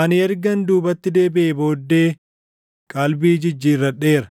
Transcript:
Ani ergan duubatti deebiʼee booddee, qalbii jijjiirradheera;